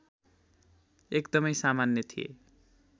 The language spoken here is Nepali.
एकदमै सामान्य थिए